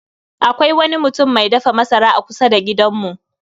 Akwai wani mutum mai dafa masara a kusa da gidanmu